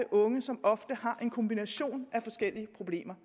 unge som har en kombination af forskellige problemer